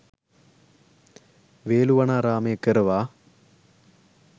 වේළුවනාරාමය කරවා